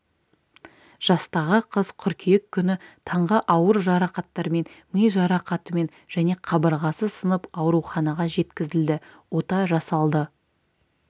жастағы қыз қыркүйек күні таңғы ауыр жарақаттармен ми жарақатымен және қабырғасы сынып ауруханаға жеткізілді ота жасалды